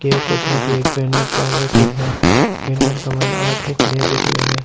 Gate से ऊपर में एक बैनर लाग रखयो है बैनर का मइने एक आदमी खड़ो दिख रेहो है।